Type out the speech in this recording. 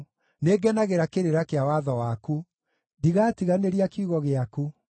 Nĩngenagĩra kĩrĩra kĩa watho waku; ndigatiganĩria kiugo gĩaku.